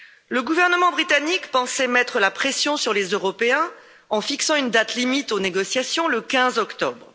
Le gouvernement britannique pensait mettre la pression sur les Européens en fixant une date limite aux négociations le 15 octobre.